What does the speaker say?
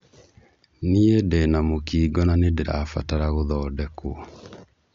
Niĩ ndĩna mũkingo na ñĩndĩrabatara gũthodekwo.